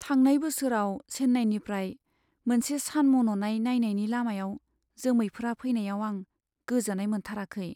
थांनाय बोसोराव चेन्नाईनिफ्राय मोनसे सान मन'नाय नायनायनि लामायाव जोमैफोरा फैनायाव आं गोजोन्नाय मोनथाराखै।